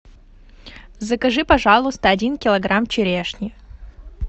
закажи пожалуйста один килограмм черешни